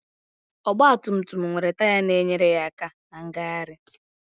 Ọgbatumtum nwere taya na-enyere aka na ngagharị